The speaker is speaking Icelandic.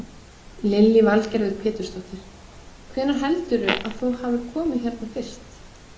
Lillý Valgerður Pétursdóttir: Hvenær heldurðu að þú hafir komið hérna fyrst?